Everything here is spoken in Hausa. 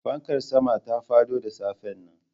Fankar sama ta fado da safen nan